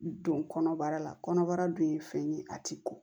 Don kɔnɔbara la kɔnɔbara dun ye fɛn ye a tɛ ko